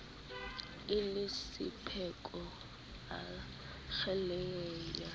e le sephoko a kgelekenya